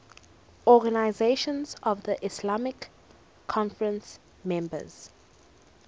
organisation of the islamic conference members